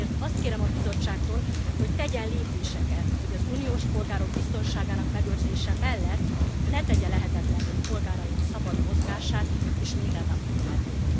Ezért azt kérem a Bizottságtól, hogy tegyen lépéseket, hogy az uniós polgárok biztonságának megőrzése mellett ne tegye lehetetlenné polgáraink szabad mozgását és mindennapi életét.